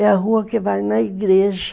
É a rua que vai na igreja.